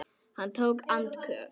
Hann tók andköf.